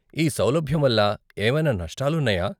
ఈ సౌలభ్యం వల్ల ఏమైనా నష్టాలు ఉన్నాయా?